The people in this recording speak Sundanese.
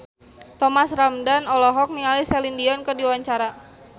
Thomas Ramdhan olohok ningali Celine Dion keur diwawancara